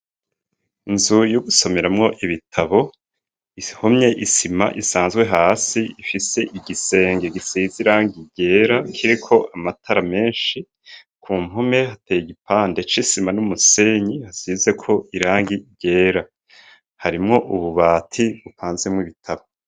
Inzu y'ugusomeramwo ibitabo, ihomye isima isanzwe hasi, ifise igisenge gisize irangi ryera kiriko amatara menshi, ku mpome hateye igipande c'isima n'umusenyi hasizeko irangi ryera, harimwo ububati bupanzemwo ibitabo.